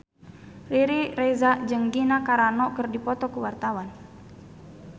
Riri Reza jeung Gina Carano keur dipoto ku wartawan